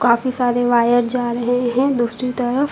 काफी सारे वायर जा रहे हैं दूसरी तरफ।